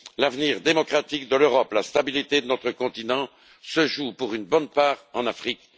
L'avenir démocratique de l'Europe et la stabilité de notre continent se jouent pour une bonne part en Afrique.